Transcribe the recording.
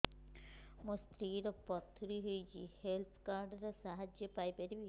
ମୋ ସ୍ତ୍ରୀ ର ପଥୁରୀ ହେଇଚି ହେଲ୍ଥ କାର୍ଡ ର ସାହାଯ୍ୟ ପାଇପାରିବି